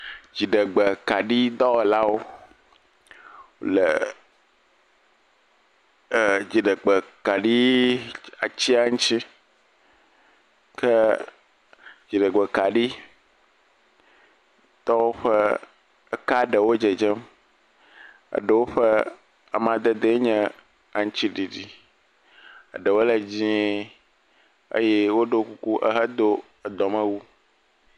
Dziɖegbekaɖi dɔwɔlawo le e…eeee…dziɖegbekaɖi atia ŋuti, ke dziɖegbekaɖitɔwo ƒe ka ɖewo le dzedzem, eɖewo ƒe amadede nye aŋutiɖiɖi, eɖewo le dzɛ̃e eye woɖɔ kuku ehedo edɔmewu.